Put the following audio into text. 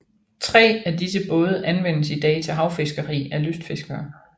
Tre af disse både anvendes i dag til havfiskeri af lystfiskere